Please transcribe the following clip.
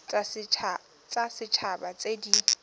tsa set haba tse di